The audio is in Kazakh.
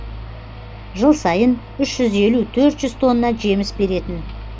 жыл сайын үш жүз елу төрт жүз тонна жеміс беретін